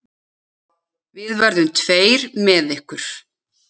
Við verðum tveir með ykkur.